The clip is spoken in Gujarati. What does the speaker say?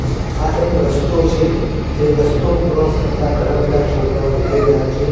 આ એક રસ્તો છે જે રસ્તો ક્રોસ કરતાં ઘણા બધા છોકરાઓ દેખાય રહ્યા છે.